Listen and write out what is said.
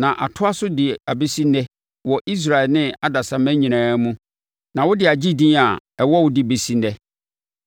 na atoa so de abɛsi ɛnnɛ wɔ Israel ne adasamma nyinaa mu, na wode agye din a ɛwɔ wo de bɛsi ɛnnɛ.